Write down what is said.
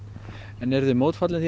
en eruð þið mótfallin því